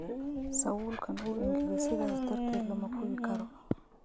Sawulkan uu engageee sidhas darateed lamakuwikaro.